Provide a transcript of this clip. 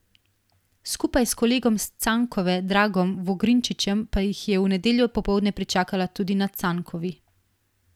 Skupaj s kolegom s Cankove Dragom Vogrinčičem pa jih je v nedeljo popoldne pričakala tudi na Cankovi.